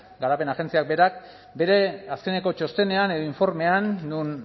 garapen agentziak berak bere azkeneko txostenean edo informean non